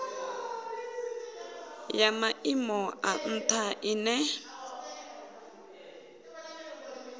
ya maimo a ntha ine